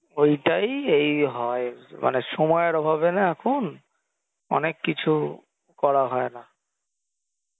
ঐটাই এই হয় মানে সময়ের অভাবে না এখন অনেক কিছু করা হয় না